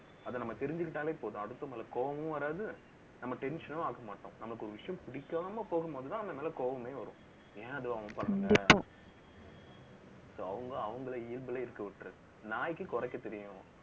அதை நம்ம தெரிஞ்சுக்கிட்டாலே போதும். அடுத்தவங்க மேல கோவமும் வராது. நம்ம tension னும் ஆக்க மாட்டோம். நமக்கு ஒரு விஷயம் பிடிக்காம போகும்போதுதான், அந்த மேல கோவமே வரும். ஏன் அது அவங்க பண்ணல so அவங்க, அவங்களை இயல்புலயே இருக்க விட்டுறுங்க. நாய்க்கு குறைக்கத் தெரியும்